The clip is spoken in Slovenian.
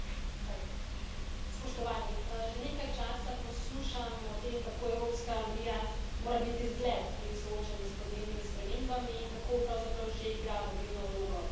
Gospod predsednik, že nekaj časa poslušam o tem, kako Evropska unija mora biti zgled pri soočanju s podnebnimi spremembami in kako pravzaprav že igra vodilno vlogo pri tem.